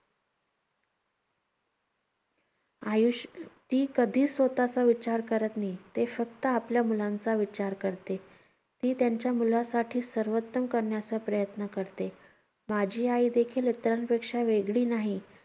आयुष~ ती कधीही स्वतःचा विचार करत नाही. ती फक्त आपल्या मुलांचा विचार करते. ती त्यांच्या मुलासाठी सर्वोत्तम करण्याचा प्रयत्न करते. माझी आईदेखील इतरांपेक्षा वेगळी नाही.